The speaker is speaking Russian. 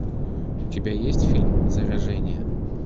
у тебя есть фильм заражение